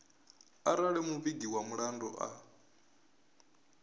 arali muvhigi wa mulandu a